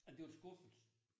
Ej det var en skuffelse